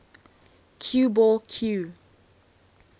cue ball cue